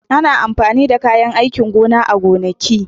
Ana amfani da kayan aikin gona a gonaki.